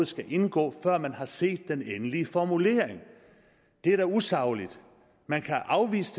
skal indgå før man har set den endelige formulering det er da usagligt man kan afvise